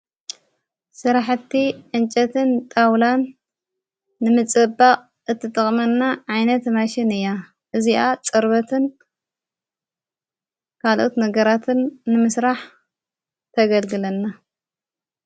ሥራሕቲ እንጨትን ጣውላን ንምጽባቕ እትጥቕመና ዓይነት መሽን እያ እዚኣ ጸርበትን ካልኦት ነገራትን ንምስራሕ ተገልግለና::